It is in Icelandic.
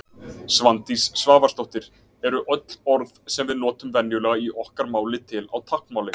Svandís Svavarsdóttir Eru öll orð sem við notum venjulega í okkar máli til á táknmáli?